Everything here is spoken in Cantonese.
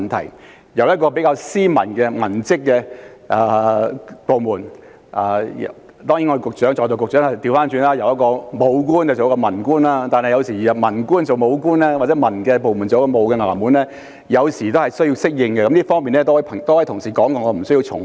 執行當局是一個比較斯文的文職部門，雖然在座局長也是由武官轉做文官，但由文官轉做武官或由文職部門執行武官職務，有時候的確需要適應，在這方面已有多位同事提及，我無需重複。